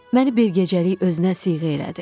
Məni bir gecəlik özünə siyğə elədi.